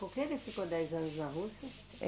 Por que ele ficou dez anos na Rússia?